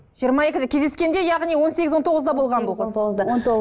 жиырма екіде кездескенде яғни он сегіз он тоғызда болған болғансыз он тоғызда